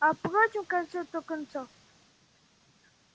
а впрочем в конце-то концов